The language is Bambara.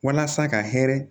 Walasa ka hɛrɛ